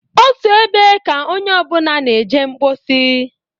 Otu ebe ka onye ọbụna na-eje mposi.